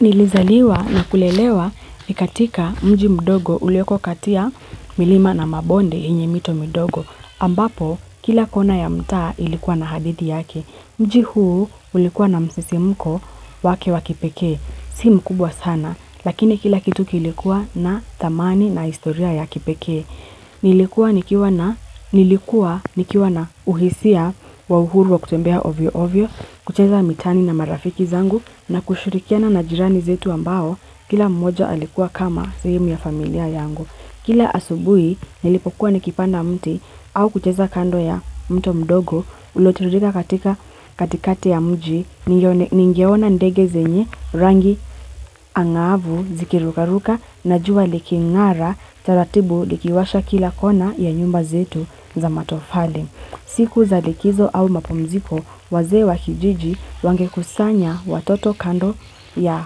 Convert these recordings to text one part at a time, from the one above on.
Nilizaliwa na kulelewa katika mji mdogo ulioko kati ya milima na mabonde yenye mito midogo ambapo kila kona ya mtaa ilikuwa na hadithi yake. Mji huu ulikuwa na msisimko wake wakipekee. Si mkubwa sana lakini kila kitu kilikuwa na tamani na historia ya kipeke. Nilikuwa nilkiwa Nilikuwa nikiwa na uhisia wa uhuru wa kutembea ovyo ovyo, kucheza mitaani na marafiki zangu na kushurikia na jirani zetu ambao kila mmoja alikuwa kama sehimu ya familia yangu. Kila asubui nilipokuwa nikipanda mti au kucheza kando ya mto mdogo uliotiririka katika katikati ya mji ningeona ndege zenye rangi angavu zikirukaruka na jua likingara taratibu likiwasha kila kona ya nyumba zetu za matofali. Siku za likizo au mapomziko wazee wa kijiji wangekusanya watoto kando ya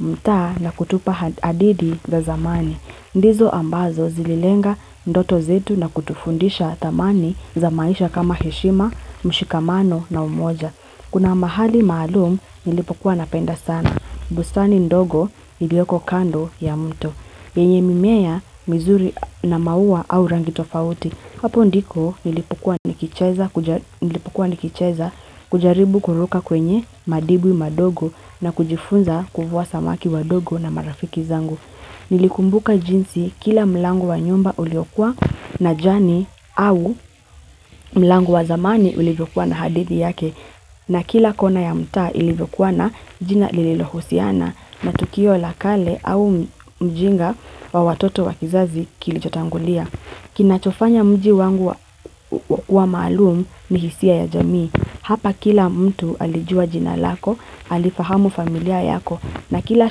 mtaa na kutupa hadidi za zamani. Ndizo ambazo zililenga ndoto zetu na kutufundisha dhamani za maisha kama heshima, mshikamano na umoja. Kuna mahali maalum nilipokuwa napenda sana, bustani ndogo ilioko kando ya mtu, yenye mimea mizuri na maua au rangi tofauti. Hapo ndiko nilipokuwa nikicheza kujaribu kuruka kwenye madibwi madogo na kujifunza kuvua samaki wadogo na marafiki zangu. Nilikumbuka jinsi kila mlango wa nyumba uliokua na jani au mlango wa zamani uliokua na hadithi yake na kila kona ya mtaa ilivyokua na jina lililohusiana na tukio la kale au ujinga wa watoto wa kizazi kilichotangulia. Kinachofanya mji wangu wa wa malumu ni hisia ya jamii hapa kila mtu alijua jina lako, alifahamu familia yako na kila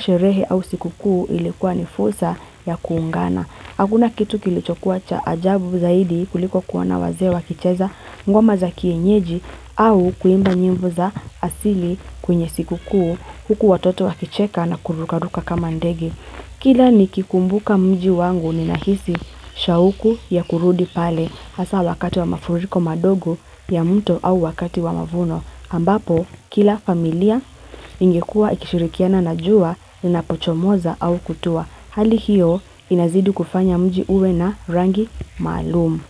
sherehe au sikukuu ilikuwa ni fulsa ya kuungana. Hakuna kitu kilichokuwa cha ajabu zaidi kuliko kuona wazee wakicheza ngoma za kienyeji au kuimba nyimbo za asili kwenye sikukuu huku watoto wakicheka na kurukaruka kama ndege Kila nikikumbuka mji wangu ninahisi shauku ya kurudi pale hasaa wakati wa mafuriko madogo ya mto au wakati wa mavuno. Ambapo, kila familia ingekua ikishirikiana na jua linapochomoza au kutua. Hali hiyo inazidi kufanya mji uwe na rangi maalum.